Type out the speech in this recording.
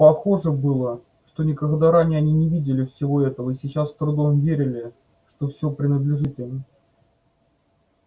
похоже было что никогда ранее они не видели всего этого и сейчас с трудом верили что все принадлежит им